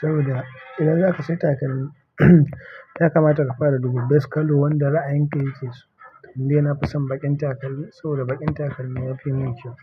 saboda idan zaka saya takalmi, ya kamata ka fara da duba best colour wanda ra'ayin ka ya ke so. To dai nafi son baƙin takalmi, saboda baƙin takalmi yafi mun kyau.